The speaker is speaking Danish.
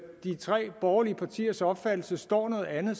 de tre borgerlige partiers opfattelse står noget andet